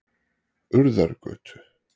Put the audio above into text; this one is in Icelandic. Urðargötu